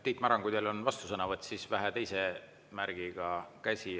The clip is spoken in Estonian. Tiit Maran, kui teil on vastusõnavõtt, siis vähe teistsugune käemärk.